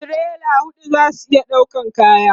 tirela huɗu zasu iya ɗaukan kayan